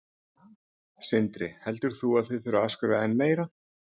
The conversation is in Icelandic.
Sindri: Heldur þú að þið þurfið að afskrifa enn meira?